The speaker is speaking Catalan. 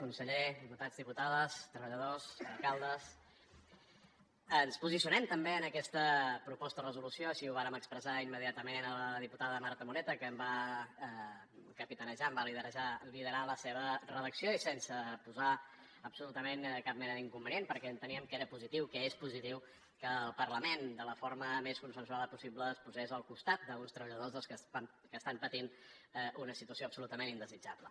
conseller diputats diputades treballadors alcaldes ens posicionem també en aquesta proposta de resolució així ho vàrem expressar immediatament a la diputada marta moreta que en va capitanejar en va liderar la seva redacció i sense posar hi absolutament cap mena d’inconvenient perquè enteníem que era positiu que és positiu que el parlament de la forma més consensuada possible es posés al costat d’uns treballadors doncs bé que estan patint una situació absolutament indesitjable